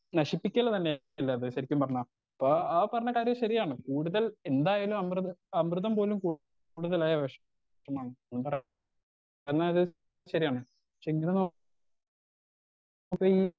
നശിപ്പിക്കൽ തന്നെ അല്ലെത് ശരിക്കും പറഞ്ഞ അ ആ പറഞ്ഞ കാര്യം ശരിയാണ് കൂടുതൽ എന്തായാലും അമൃത അമൃതം പോലും കൂടു തൽ പിന്നെ അത് ശരിയാണ്